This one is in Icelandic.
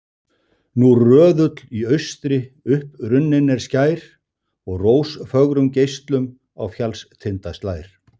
Nú röðull í austri upprunninn er skær, og rósfögrum geislum á fjallstinda slær.